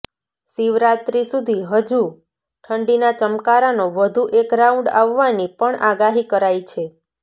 શિવરાત્રિ સુધી હજુ ઠંડીના ચમકારાનો વધુ એક રાઉન્ડ આવવાની પણ આગાહી કરાઈ છે